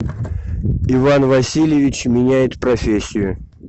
иван васильевич меняет профессию